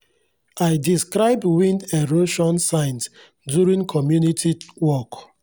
i describe wind erosion signs during community walk